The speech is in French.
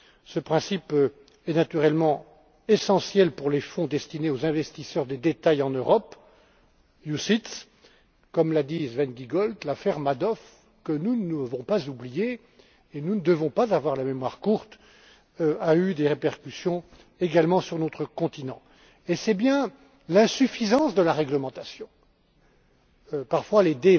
Ce principe est naturellement essentiel pour les fonds destinés aux investisseurs de détail en Europe, les OPCVM. Comme l'a dit Sven Giegold, l'affaire Madoff que nous ne devons pas oublier, car nous ne devons pas avoir la mémoire courte a eu des répercussions également sur notre continent. Et c'est bien l'insuffisance de la réglementation, et parfois les